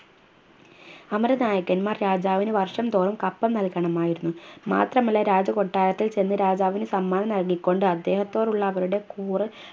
അമര നായകൻമാർ രാജാവിന് വർഷം തോറും കപ്പം നൽകണമായിരുന്നു മാത്രമല്ല രാജകൊട്ടാരത്തിൽ ചെന്ന് രാജാവിന് സമ്മാനം നൽകിക്കൊണ്ട് അദ്ദേഹത്തോടുള്ള അവരുടെ കൂറ്